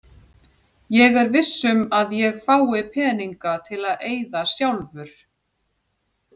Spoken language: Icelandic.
Er ég viss um að ég fái peninga til að eyða sjálfur?